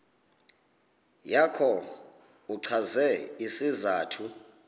yakho uchaze isizathu